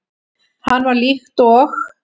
Hann var líkt og